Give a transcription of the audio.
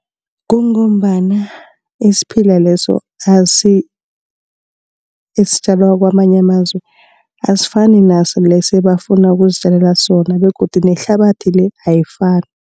Kungombana isiphila leso esitjalwa kwamanye amazwe, asifani naso le ebafuna ukuzitjalela sona begodu nehlabathi le ayifani.